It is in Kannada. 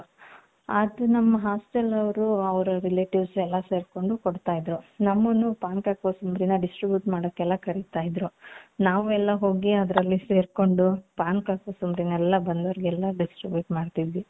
ಅದು ನಮ್ಮ hostel ಅವರು ಅವರ relatives ಎಲ್ಲಾ ಸೇರ್ಕೊಂಡು ಕೊಡ್ತಾ ಇದ್ರೂ ನಮ್ಮನ್ನು ಪಾನಕ ಕೋಸಂಬರಿನ distribute ಮಾದಕೆಲ್ಲಾ ಕರೀತಾ ಇದ್ರು ನಾವೆಲ್ಲಾ ಹೋಗಿ ಅದ್ರಲ್ಲಿ ಸೇರ್ಕೊಂಡು ಪಾನಕ ಕೊಸಂಬರಿನೆಲ್ಲಾ ಬಂದವರಿಗೆಲ್ಲಾ distribute ಮಾಡ್ತಾ ಇದ್ವಿ.